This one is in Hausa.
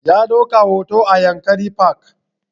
Ya ɗauka hoto a yankari park